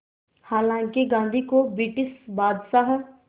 हालांकि गांधी को ब्रिटिश बादशाह